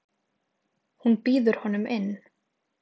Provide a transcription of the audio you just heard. Hún býður honum inn.